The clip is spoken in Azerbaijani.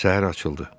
Səhər açıldı.